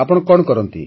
ଆପଣ କଣ କରନ୍ତି